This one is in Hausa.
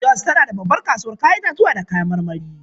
Jos tana da babbar kasuwar 'ya'yan itatuwa da kayan marmari.